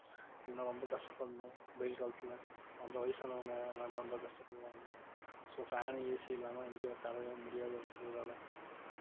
இல்லைன்னா ரொம்ப கஷ்டப்படணும் வெயில் காலத்துல அந்த வயசானவங்க எல்லாருமே ரொம்ப கஷ்டப்படுவாங்க so fan உ AC இல்லாம எங்கேயும் உட்காரவே முடியாத ஒரு சூழ்நிலை